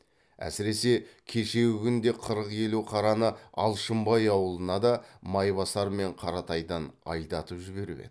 әсіресе кешегі күнде қырық елу қараны алшынбай аулына да майбасар мен қаратайдан айдатып жіберіп еді